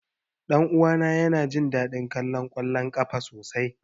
Ɗan uwana yana jin daɗin kallon ƙwallon ƙafa sosai.